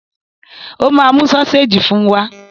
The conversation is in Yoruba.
Ó máa mú sọ́séjì fún wa!